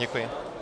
Děkuji.